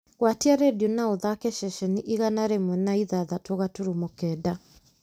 gwatia rĩndiũ na ũthaake ceceni igana rĩmwe na ithathatũ gaturumo kenda